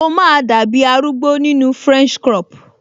O máa dàbi arúgbó nínu french crop